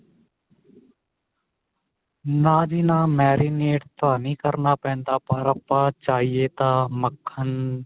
ਨਾ ਜੀ ਨਾ marinate ਤਾਂ ਨੀ ਕਰਨਾ ਪੈਂਦਾ ਪਰ ਆਪਾਂ ਚਾਹੀਏ ਤਾਂ ਮੱਖਣ